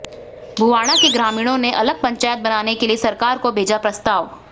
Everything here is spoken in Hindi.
भुवाणा के ग्रामीणों ने अलग पंचायत बनाने के लिए सरकार को भेजा प्रस्ताव